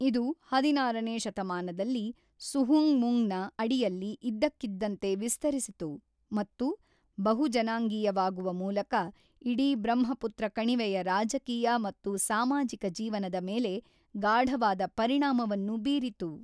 ಇದು ಹದಿನಾರನೇ ಶತಮಾನದಲ್ಲಿ ಸುಹುಂಗ್‌ಮುಂಗ್‌ನ ಅಡಿಯಲ್ಲಿ ಇದ್ದಕ್ಕಿದ್ದಂತೆ ವಿಸ್ತರಿಸಿತು ಮತ್ತು ಬಹು-ಜನಾಂಗೀಯವಾಗುವ ಮೂಲಕ ಇಡೀ ಬ್ರಹ್ಮಪುತ್ರ ಕಣಿವೆಯ ರಾಜಕೀಯ ಮತ್ತು ಸಾಮಾಜಿಕ ಜೀವನದ ಮೇಲೆ ಗಾಢವಾದ ಪರಿಣಾಮವನ್ನು ಬೀರಿತು.